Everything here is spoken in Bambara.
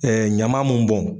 Ɛɛ ɲaman mun bɔn